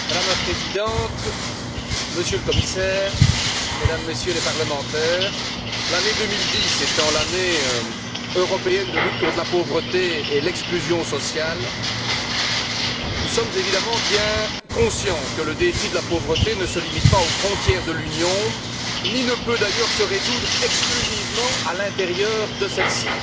Madame la Présidente, Monsieur le Commissaire, Mesdames et Messieurs les parlementaires, l'année 2010 étant l'Année européenne de lutte contre la pauvreté et l'exclusion sociale, nous sommes évidemment bien conscients que le défi de la pauvreté ne se limite pas aux frontières de l'Union ni ne peut d'ailleurs se résoudre exclusivement à l'intérieur de celles ci.